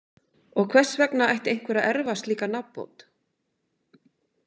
Og hvers vegna ætti einhver að erfa slíka nafnbót?